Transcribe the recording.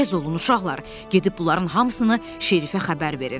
Tez olun, uşaqlar, gedib bunların hamısını şerifə xəbər verin.